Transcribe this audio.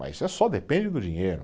Mas só depende do dinheiro.